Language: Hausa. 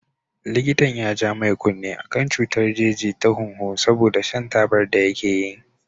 Likitan ya ja mai kunne akan cutar jeji ta hunhu saboda shan tabar da yake yi.